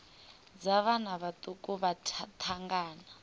dza vhana vhaṱuku vha thangana